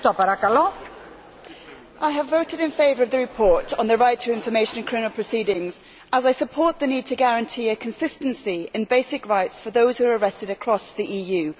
Madam President, I have voted in favour of the report on the right to information in criminal proceedings as I support the need to guarantee a consistency in basic rights for those who are arrested across the EU.